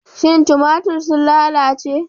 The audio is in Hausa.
Shin tumatir sun lalace?